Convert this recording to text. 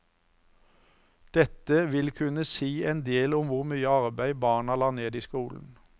Dette vil kunne si en del om hvor mye arbeid barna la ned i skolen.